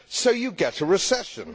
So you get a recession.